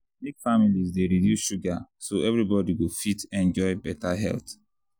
make families dey reduce sugar so everybody go fit enjoy better health.